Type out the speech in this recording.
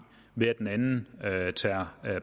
ved at den anden tager